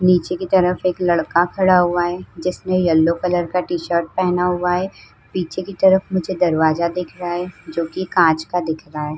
नीचे की तरफ एक लड़का खड़ा हुआ है। जिसने येलो कलर का टीशर्ट पहना हुआ है। पीछे की तरफ मुझे दरवाजा दिख रहा है जोकि काँच का दिख रहा है।